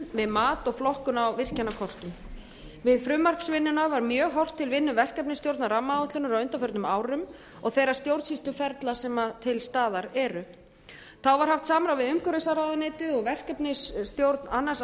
við mat og flokkun á virkjunarkostum við frumvarpsvinnuna var mjög horft til verkefnisstjórnar rammaáætlunar á undanförnum árum og þeirra stjórnsýsluferla sem til staðar eru þá var haft samráð við umhverfisráðuneytið og verkefnisstjórn annars